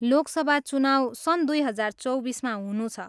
लोक सभा चुनाउ सन् दुई हजार चौबिसमा हुनु छ।